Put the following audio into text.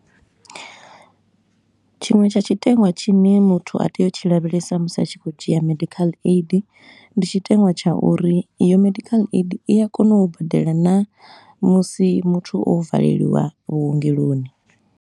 Tshiṅwe tsha tshiteṅwa tshine muthu a tea u tshi lavhelesa musi a tshi khou dzhia medical aid, ndi tshiteṅwa tsha uri iyo medical aid i a kona u badela naa musi muthu o valeliwa vhuengeloni.